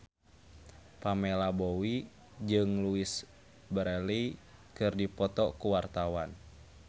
Pamela Bowie jeung Louise Brealey keur dipoto ku wartawan